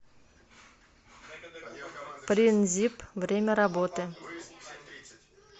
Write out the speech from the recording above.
принзип время работы